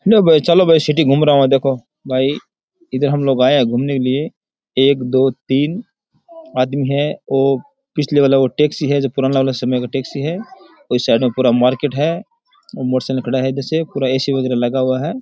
चलो बे सिटी घूम रहा हु देखो भाई इधर हम लोग आये है घूमने के लिए एक दो तीन आदमी है ओ पिछले वाला वो टैक्सी है जो पुराना वाला समय का टैक्सी है ये साइड में पूरा मार्केट है मोटर साइकिल खड़ा है ऐसे पूरा ऐ सी वगेरा लगा हुआ है।